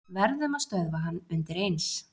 Verðum að stöðva hann undireins.